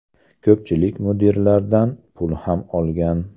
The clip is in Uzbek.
Ko‘pchilik mudiralardan pul ham olgan.